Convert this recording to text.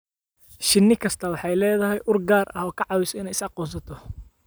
Shinni kastaa waxay leedahay ur gaar ah oo ka caawisa inay is aqoonsato.